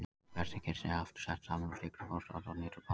Hvert kirni er aftur sett saman úr sykru, fosfati og niturbasa.